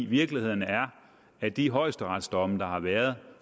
virkeligheden er at de højesteretsdomme der har været